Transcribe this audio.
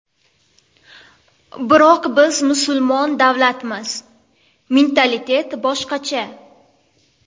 Biroq biz musulmon davlatmiz, mentalitet boshqacha.